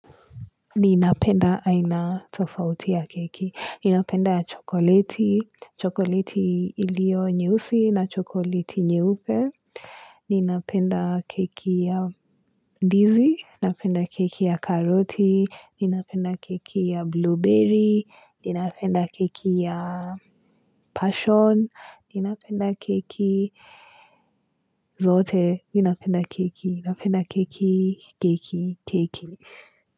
Ninapenda aina tofauti ya keki. Ninapenda ya chokoleti. Chokoleti iliyo nyeusi na chokoleti nyeupe. Ninapenda keki ya ndizi. Napenda keki ya karoti. Ninapenda keki ya blueberry. Ninapenda keki ya passion. Ninapenda keki zote. Ninapenda keki. Ninapenda keki keki keki.